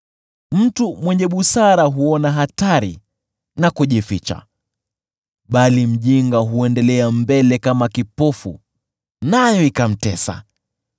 Mtu mwenye busara huona hatari na kujificha, bali mjinga huendelea mbele kama kipofu nayo ikamtesa.